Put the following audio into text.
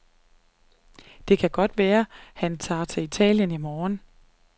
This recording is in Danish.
Det kan godt være, at han tager til Italien i morgen.